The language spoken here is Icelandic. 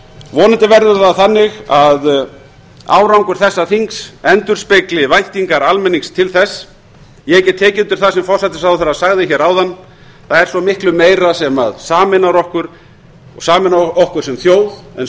vonandi verður það þannig að árangur þessa þings endurspegli væntingar almennings til þess ég get tekið undir það sem hæstvirtur forsætisráðherra sagði hér áðan það er svo miklu meira sem sameinar okkur sem þjóð en